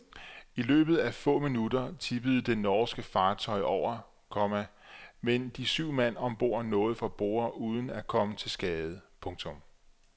I løbet af få minutter tippede det norske fartøj over, komma men de syv mand om bord nåede fra borde uden at komme til skade. punktum